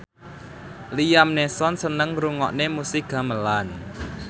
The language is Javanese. Liam Neeson seneng ngrungokne musik gamelan